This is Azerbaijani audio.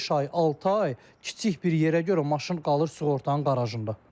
Beş ay, altı ay kiçik bir yerə görə maşın qalır sığortanın qarajında.